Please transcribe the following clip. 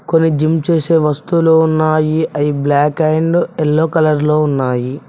కొన్ని జిమ్ చేసే వస్తువులు ఉన్నాయి అవి బ్లాక్ అండ్ యెల్లో కలర్ లో ఉన్నాయి.